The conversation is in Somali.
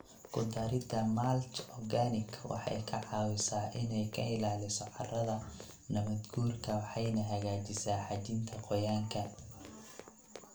Ku darida mulch organic waxay ka caawisaa inay ka ilaaliso carrada nabaadguurka waxayna hagaajisaa xajinta qoyaanka.